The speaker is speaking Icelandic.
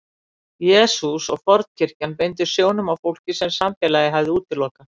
Jesús og fornkirkjan beindu sjónum að fólki sem samfélagið hafði útilokað.